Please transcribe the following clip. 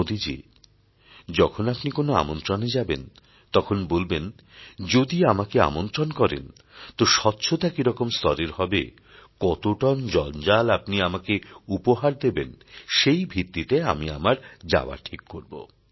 মোদীজী যখন আপনি কোন আমন্ত্রণে যাবেন তখন বলবেন যদি আমাকে আমন্ত্রণ করেন তো স্বচ্ছতা কিরকম স্তরের হবে কত টন জঞ্জাল আপনি আমাকে উপহার দেবেন সেই ভিত্তিতে আমি আমার যাওয়া ঠিক করব